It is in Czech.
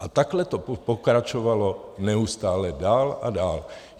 A takhle to pokračovalo neustále dál a dál.